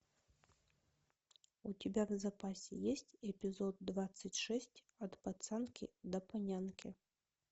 у тебя в запасе есть эпизод двадцать шесть от пацанки до панянки